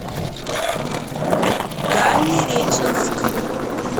дальнереченск